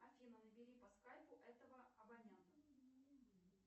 афина набери по скайпу этого абонента